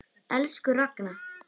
Elsku Ragna.